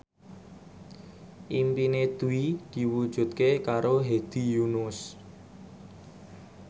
impine Dwi diwujudke karo Hedi Yunus